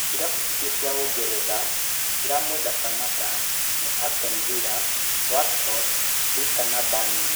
Irabu ingĩ cia Ũngeretha ciramweda Samatta nĩ Aston Villa, Watford, Leceister na Burnley.